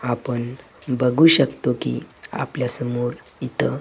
आपण बघू शकतो की आपल्या समोर इथं--